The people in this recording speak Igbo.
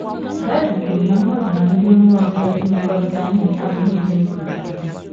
Baịbụl kwuru na mmadụ na ndị mmụọ ọjọọ imekọrịta ihe abụghị ihe egwuregwu.